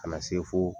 Ka na se fo